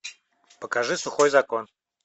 покажи сухой закон